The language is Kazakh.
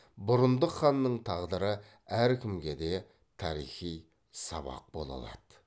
бұрындық ханның тағдыры әркімге де тарихи сабақ бола алады